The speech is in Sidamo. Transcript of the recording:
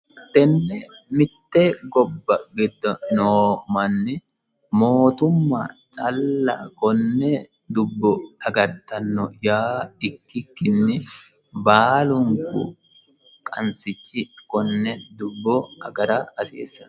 tenne mitte gobba geddo noo manni mootumma calla konne dubbo agartanno yaa ikkikkinni baaluniku qansichi konne dubbo agara hasiissano